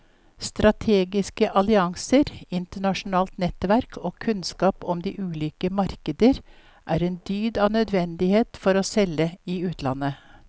Strategiske allianser, internasjonalt nettverk og kunnskap om de ulike markeder er en dyd av nødvendighet for å selge i utlandet.